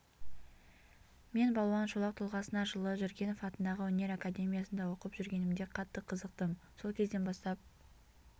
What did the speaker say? мен балуан шолақ тұлғасына жылы жүргенов атындағы өнер академиясында оқып жүргенімде қатты қызықтым сол кезден бастап